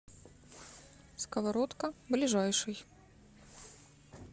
сковородка ближайший